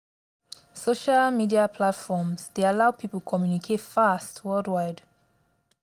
social media platforms dey allow people communicate fast worldwide.